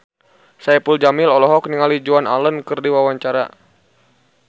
Saipul Jamil olohok ningali Joan Allen keur diwawancara